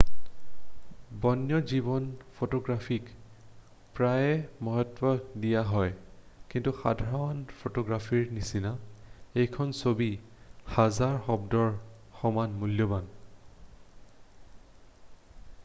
বন্যজীৱন ফটোগ্ৰাফীক প্ৰায়ে মহত্ব দিয়া হয় কিন্তু সাধাৰণ ফটোগ্ৰাফীৰ নিচিনা এখন ছবি হাজাৰ শব্দৰ সমান মূল্যবান